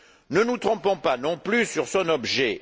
Ne nous trompons pas non plus sur son objet.